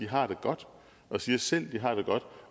har det godt og siger selv at de har det godt